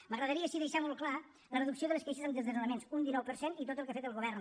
m’agradaria sí deixar molt clar la reducció de les queixes en desnonaments un dinou per cent i tot el que ha fet el govern